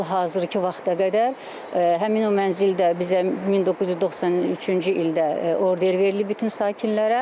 Hal-hazırkı vaxta qədər həmin o mənzil də bizə 1993-cü ildə order verilib bütün sakinlərə.